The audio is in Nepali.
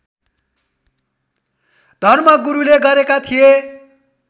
धर्मगुरूले गरेका थिए